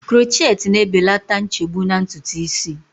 Krochet na-ebelata nchegbu na ntutu isi